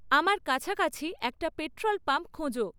আমার কাছাকাছি একটা পেট্রল পাম্প খোঁজো